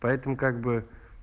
поэтому как бы